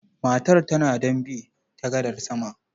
Matar tana don bi ta gadar sama.